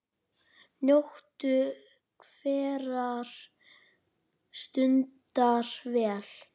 Njóttu hverrar stundar vel.